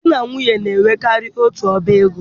Di na nwunye na enwekarị otu ọbá ego